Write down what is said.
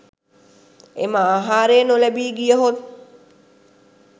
එම ආහාරය නොලැබී ගියහොත්